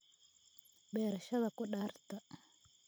beerashada khudaarta